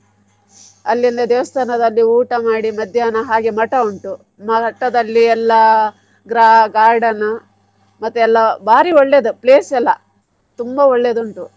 ಅಲ್ಲಿಂದ ದೇವಸ್ಥಾನದಲ್ಲಿ ಊಟ ಮಾಡಿ ಮಧ್ಯಾಹ್ನ ಹಾಗೆ ಮಠ ಉಂಟು ಮಠದಲ್ಲಿ ಎಲ್ಲ gra~ garden ಮತ್ತೆ ಎಲ್ಲ ಬಾರಿ ಒಳ್ಳೇದು place ಎಲ್ಲ ತುಂಬಾ ಒಳ್ಳೆದುಂಟು.